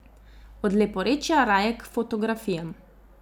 Od leporečja raje k fotografijam.